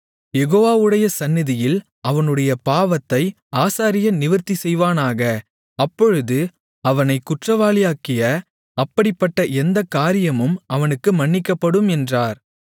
யெகோவாவுடைய சந்நிதியில் அவனுடைய பாவத்தை ஆசாரியன் நிவிர்த்திசெய்வானாக அப்பொழுது அவனைக் குற்றவாளியாக்கிய அப்படிப்பட்ட எந்தக்காரியமும் அவனுக்கு மன்னிக்கப்படும் என்றார்